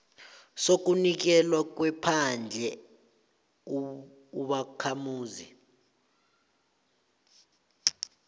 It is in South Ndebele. sokunikelwa kwephandle ubakhamuzi